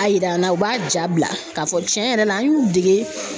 A yira an na u b'a ja bila k'a fɔ tiɲɛ yɛrɛ la an y'u dege.